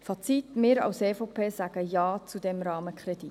Fazit: Wir als EVP sagen Ja zum Rahmenkredit.